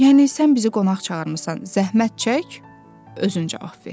Yəni sən bizi qonaq çağırmısan, zəhmət çək özün cavab ver.